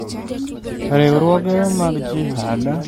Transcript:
Riwruoge mag jihad medo rieko e alwora mang'eny